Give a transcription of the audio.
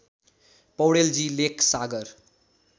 पौडेलजी Lekh सागर